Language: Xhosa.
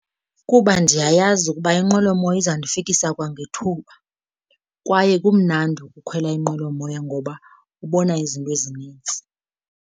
Kuba ndiyayazi ukuba inqwelomoya izandifikisa kwangethuba, kwaye kumnandi ukukhwela inqwelomoya ngoba ubona izinto ezinintsi.